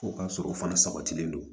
Fo k'a sɔrɔ o fana sabatilen don